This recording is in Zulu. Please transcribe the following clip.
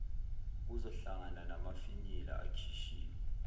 kuzohlangana namafinyila akhishiwe